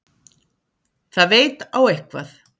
Það veit á eitthvað.